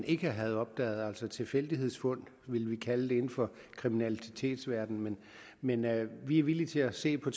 ikke havde opdaget tilfældighedsfund ville vi kalde det inden for kriminalitetsverdenen men men vi er villige til at se på